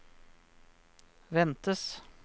ventes